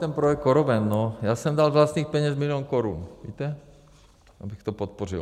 Ten projekt CoroVent - já jsem dal z vlastních peněz milion korun, víte, abych to podpořil.